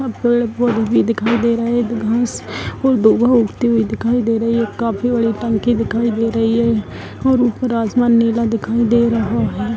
यहाँ पेड़ पौधे भी दिखाई दे रहा है दो घास और दो वहाँ उगती हुई दिखाई दे रही है | काफी बड़ी टंकी दिखाई दे रही है और ऊपर आसमान नीला दिखाई दे रहा है |